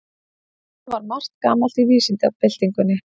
Þannig var margt gamalt í vísindabyltingunni.